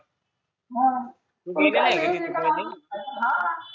हा कुणी हा